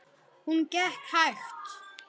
Hún gekk hægt.